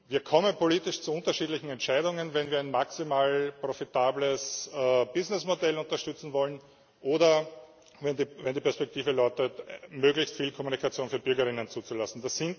Wir kommen politisch zu unterschiedlichen Entscheidungen, wenn wir ein maximal profitables Businessmodell unterstützen wollen oder wenn die Perspektive lautet, möglichst viel Kommunikation für BürgerInnen zuzulassen.